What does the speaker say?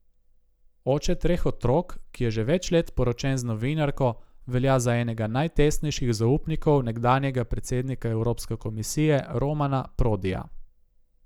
Oče treh otrok, ki je že več let poročen z novinarko, velja za enega najtesnejših zaupnikov nekdanjega predsednika Evropske komisije Romana Prodija.